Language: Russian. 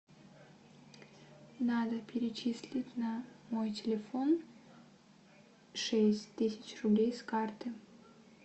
надо перечислить на мой телефон шесть тысяч рублей с карты